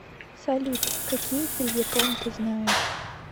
салют какие фельетон ты знаешь